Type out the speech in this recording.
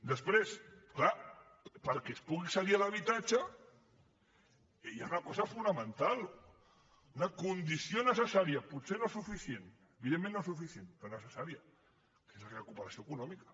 després clar perquè es pugui accedir a l’habitatge hi ha una cosa fonamental una condició necessària potser no és suficient evidentment no és suficient però necessària que és la recuperació econòmica